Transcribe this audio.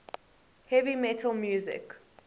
heavy metal music